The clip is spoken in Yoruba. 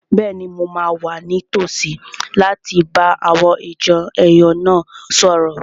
Bẹ́ẹ̀ni, mo máa wà ní tòsí láti bá àwọn ìjọ èèyàn náà sọ̀rọ̀